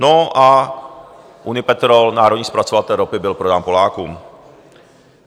No a Unipetrol, národní zpracovatel ropy, byl prodán Polákům.